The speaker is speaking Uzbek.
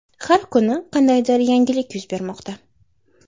Har kuni qandaydir yangilik yuz bermoqda.